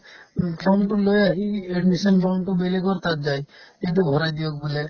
উম, form লৈ আহি admission form তো বেলেগৰ তাত যায় এইটো ভৰাই দিয়ক বোলে